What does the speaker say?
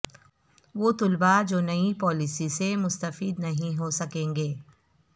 وہ طلبا جو نئی پالیسی سے مستفید نہیں ہو سکیں گے